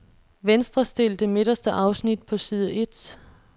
Venstrestil det midterste afsnit på side et.